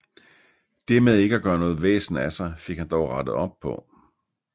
Det med ikke at gøre noget væsen af sig fik han dog rettet op på